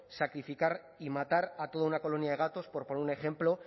sacrificar y matar a toda una colonia de gatos por poner un ejemplo